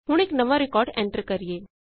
ਹੁਣ ਇਕ ਨਵਾਂ ਰਿਕਾਰਡ ਐੰਟਰ ਕਰੀਏ